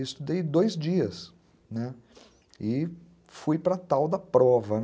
Estudei dois dias, né, e fui para a tal da prova.